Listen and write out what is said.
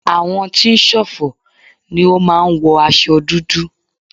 Àwọn tí ń ṣọ̀fọ̀ ni ó máa ń wọ aṣo dúdú.